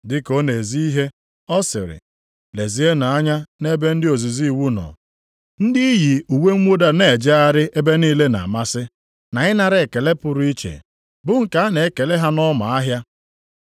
Dịka ọ na-ezi ihe, ọ siri, “Lezienụ anya nʼebe ndị ozizi iwu nọ. + 12:38 Ya bụ ndị Farisii Ndị iyi uwe mwụda na-ejegharị ebe niile na-amasị, na ịnara ekele pụrụ iche bụ nke a na-ekele ha nʼọma ahịa.